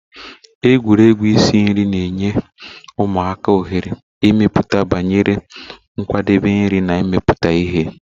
Egwuregwu isi nri na-enye ụmụaka ohere ịmụta banyere nkwadebe nri na imepụta ihe.